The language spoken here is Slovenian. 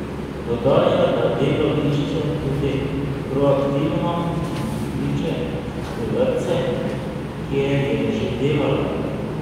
Dodaja, da delo išče tudi proaktivno in kliče v vrtce, kjer je že delala.